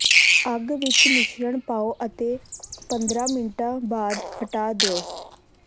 ਅੱਗ ਵਿਚ ਮਿਸ਼ਰਣ ਪਾਓ ਅਤੇ ਪੰਦਰਾਂ ਮਿੰਟਾਂ ਬਾਅਦ ਹਟਾ ਦਿਓ